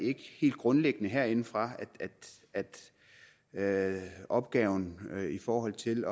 grundlæggende ikke herindefra at opgaven i forhold til